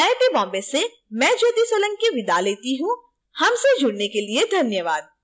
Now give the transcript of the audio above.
यह स्क्रिप्ट विकास द्वारा अनुवादित है आई आई टी बॉम्बे से मैं ज्योति सोलंकी आपसे विदा लेती हूँ हमसे जुड़ने के लिए धन्यवाद